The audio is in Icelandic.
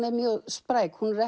er mjög spræk hún er